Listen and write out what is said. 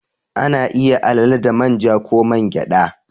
Ana iya alale da man ja ko man gyada.